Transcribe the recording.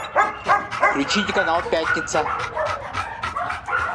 включите канал пятница